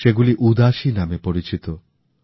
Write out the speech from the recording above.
সেগুলি উদাসী নামে পরিচিত